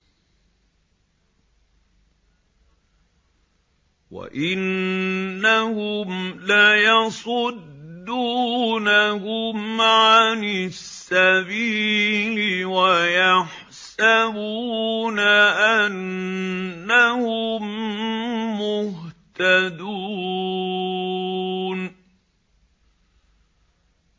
وَإِنَّهُمْ لَيَصُدُّونَهُمْ عَنِ السَّبِيلِ وَيَحْسَبُونَ أَنَّهُم مُّهْتَدُونَ